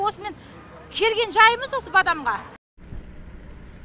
осымен келген жаймыз осы бадамға